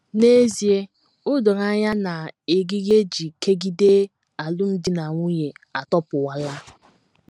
N’ezie, o doro anya na eriri e ji kegide alụmdi na nwunye atọpụwala.